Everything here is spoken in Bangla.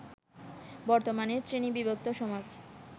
বর্তমানের শ্রেণীবিভক্ত সমাজ